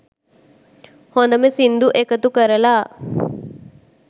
හොඳම සින්දු එකතු කරලා